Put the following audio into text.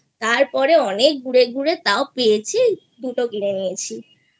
তারপরে অনেক ঘুরে ঘুরে তাও পেয়েছি দুটো কিনে নিয়েছিI